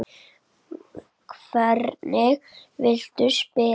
Hvernig viltu spila?